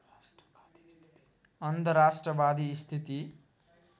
अन्धराष्ट्रवादी स्थिति